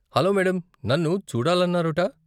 Hello madam , నన్ను చూడాలన్నారుట ?